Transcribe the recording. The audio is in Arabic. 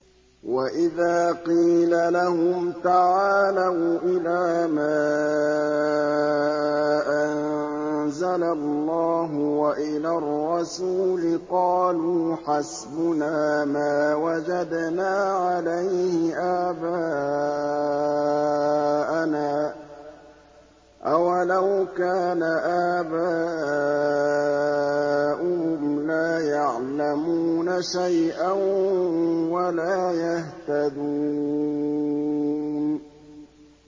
وَإِذَا قِيلَ لَهُمْ تَعَالَوْا إِلَىٰ مَا أَنزَلَ اللَّهُ وَإِلَى الرَّسُولِ قَالُوا حَسْبُنَا مَا وَجَدْنَا عَلَيْهِ آبَاءَنَا ۚ أَوَلَوْ كَانَ آبَاؤُهُمْ لَا يَعْلَمُونَ شَيْئًا وَلَا يَهْتَدُونَ